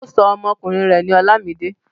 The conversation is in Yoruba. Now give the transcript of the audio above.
Ó sọ ọmọkùnrin rẹ̀ ní Olamide.